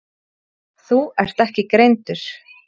Þú ert ekki greindur.